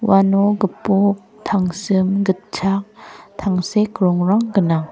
uano gipok tangsim gitchak tangsek rongrang gnang.